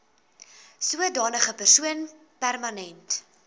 sodanige persoon permanent